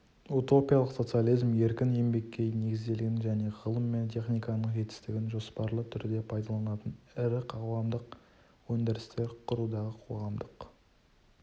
утопиялық социализм еркін еңбекке негізделген және ғылым мен техниканың жетістігін жоспарлы түрде пайдаланатын ірі қоғамдық өндірістер құрудағы қоғамдық